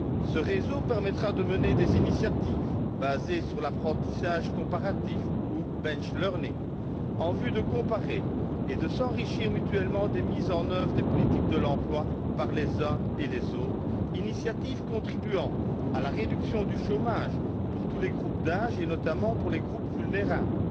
Ce réseau permettra de mener des initiatives basées sur l'apprentissage comparatif ou benchlearning en vue de comparer et de s'enrichir mutuellement des mises en œuvre des politiques de l'emploi par les uns et les autres, initiatives contribuant à la réduction du chômage pour tous les groupes d'âges, et notamment pour les groupes vulnérables, et